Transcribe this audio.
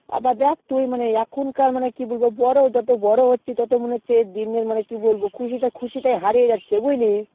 আবা দেখ তুই মানে এখন কার কি বলবো যত বড়ো হচ্ছি ততো মনে হচ্ছে মানে কি বলবো খুশিটাই হারিয়ে যাচ্ছে বুঝলি